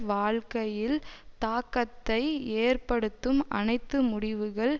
வாழ்க்கையில் தாக்கத்தை ஏற்படுத்தும் அனைத்து முடிவுகள்